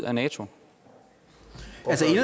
af nato